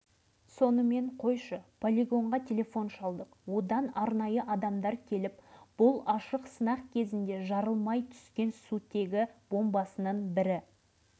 сол кезде ғана олар мына кісі шынымен-ақ солай істегелі тұр ма дегендей бір сәт аңтарыла қарасты